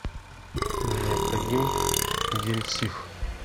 необходим гель сиф